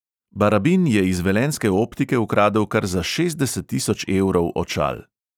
Barabin je iz velenjske optike ukradel kar za šestdeset tisoč evrov očal!